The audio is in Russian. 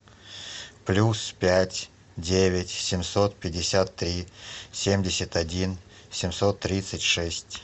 плюс пять девять семьсот пятьдесят три семьдесят один семьсот тридцать шесть